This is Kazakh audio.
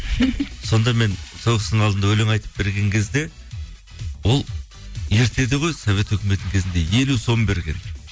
сонда мен сол кісінің алдында өлең айтып берген кезде ол ертеде ғой совет үкіметінің кезінде елу сом берген